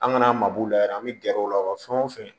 An ŋana mabɔ la yɛrɛ an bɛ gɛrɛ u la fɛn o fɛn